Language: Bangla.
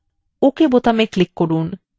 ok button click করুন